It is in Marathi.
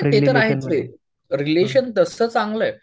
ते ते तर आहेच ये. रिलेशन तसं चांगलं आहे.